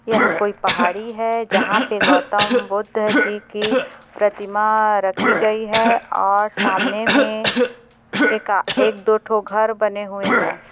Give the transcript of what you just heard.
यह कोई पहाड़ी है जहाँ पे गौतम बुद्धा जी की प्रतिमा रखी गई है और सामने मे एका-एक दो ठों घर बने हुए है।